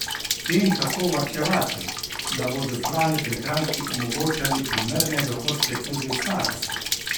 Kje in kako varčevati, da bodo zbrani prihranki omogočali primerne dohodke tudi v starosti?